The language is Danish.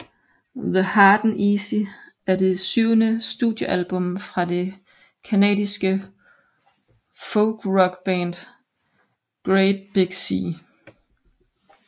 The Hard and The Easy er det syvende studiealbum fra det canadiske folkrockband Great Big Sea